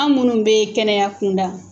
An minnu be kɛnɛya kunda